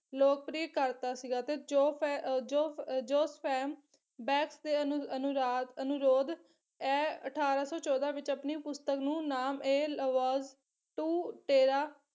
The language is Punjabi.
ਲੋਕਪ੍ਰਿਯ ਕਰਤਾ ਸੀਗਾ ਤੇ ਜੋਫ ਜੋ ਜੋਸਫੈਮ ਬੈਕ ਤੇ ਅਨੁਰਾਧ ਅਨੁਰੋਧ ਐ ਅਠਾਰਾਂ ਸੌ ਚੋਦਾਂ ਵਿੱਚ ਆਪਣੀ ਪੁਸਤਕ ਨੂੰ ਨਾਮ ਏ ਲਵੋਜ ਟੁ ਤੇਰਾ